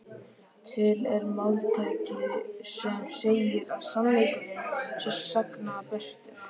Til er máltæki sem segir að sannleikurinn sé sagna bestur.